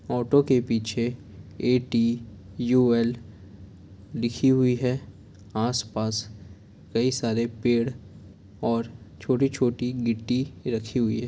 Auto के पीछे A. T. U. L. लिखी हुई है आसपास कई सारे पेड़ और छोटी-छोटी गिट्टी रखी हुई है।